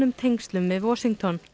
tengslum við Washington